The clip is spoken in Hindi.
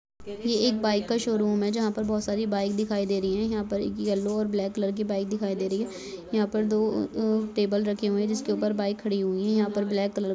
यह एक बाइक का शोरूम है जहा पर बहुत सारी बाइक दिखाई दे रही है यह पर एक यल्लो और ब्लैक कलर की बाइक दिखाई दे रही है यह पर दो टेबल रखे हुए है जिस के उपर बाइक खड़ीं हुई है यह पर ब्लैक कलर क--